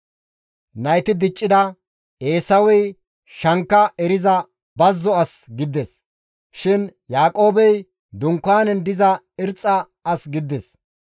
Nayti diccida; Eesawey shankka eriza bazzo as gidides; gido attiin Yaaqoobey dunkaanen diza ashke as gidides.